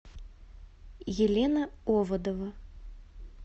елена оводова